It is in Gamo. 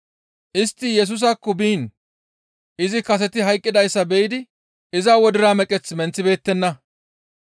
Istti Yesusaakko biin izi kaseti hayqqidayssa be7idi iza wodira meqeth menththibeettenna.